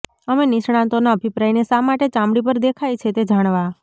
અમે નિષ્ણાતોના અભિપ્રાયને શા માટે ચામડી પર દેખાય છે તે જાણવા